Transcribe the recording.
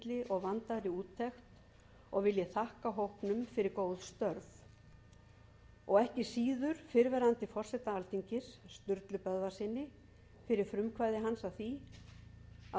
og vandaðri úttekt og vil ég þakka hópnum fyrir góð störf og ekki síður fyrrverandi forseta alþingis sturlu böðvarssyni fyrir frumkvæði hans að því að